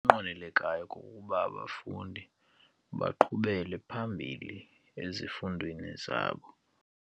Okunqwenelekayo kukuba abafundi baqhubele phambili ezifundweni zabo.